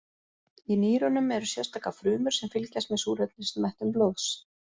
Í nýrunum eru sérstakar frumur sem fylgjast með súrefnismettun blóðs.